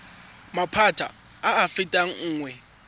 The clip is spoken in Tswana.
maphata a a fetang nngwe